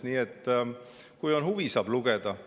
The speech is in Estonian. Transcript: Nii et kui on huvi, saab lugeda.